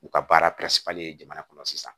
U ka baara jamana kɔnɔ sisan